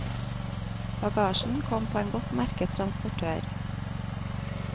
Bagasjen kom på en godt merket transportør.